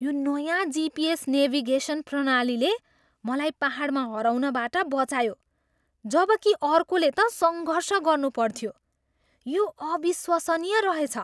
यो नयाँ GPS navigation प्रणालीले मलाई पाहाडमा हराउनबाट बचायो जबकि अर्कोले त सङ्घर्ष गर्नु पर्थ्यो। यो अविश्वसनीय रहेछ!